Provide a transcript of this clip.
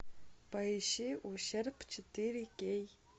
поищи ущерб четыре кей